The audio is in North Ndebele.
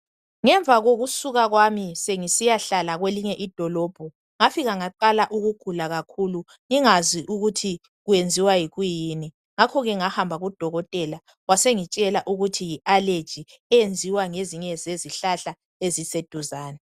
Ngemva kokusuka kwaminsemgisiyahlala kwelinye idolobho ngafika ngaqala ukugula kakhulu ngingazi ukuthi kwenziwa yikuyini ngakhoke ngahamba kudokotela wasengitshela ukuthi yi allergy eyenziwa ngezezihlahla eziseduzane.